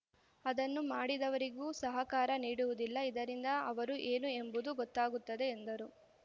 ಅದನ್ನು ಮಾಡಿದವರಿಗೂ ಸಹಕಾರ ನೀಡುವುದಿಲ್ಲ ಇದರಿಂದ ಅವರು ಏನು ಎಂಬುದು ಗೊತ್ತಾಗುತ್ತದೆ ಎಂದರು